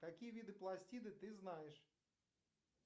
какие виды пластида ты знаешь